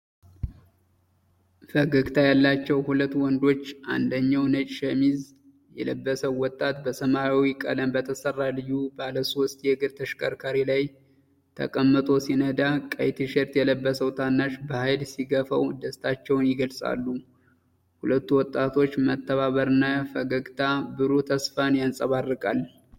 ፈገግታ ያላቸው ሁለት ወንዶች አንደኛው ነጭ ሸሚዝ የለበሰው ወጣት በሰማያዊ ቀለም በተሰራ ልዩ ባለሶስት እግር ተሽከርካሪ ላይ ተቀምጦ ሲነዳ፣ ቀይ ቲሸርት የለበሰው ታናሽ በኃይል ሲገፋው ደስታቸውን ይገልጻሉ። የሁለቱ ወጣቶች መተባበር እና ፈገግታ ብሩህ ተስፋን ያንጸባርቃል።